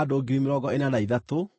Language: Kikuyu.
Mũrũ wa Palu arĩ Eliabu,